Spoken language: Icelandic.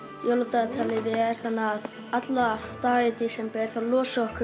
dagatalið er þannig að alladaga í desember þá losum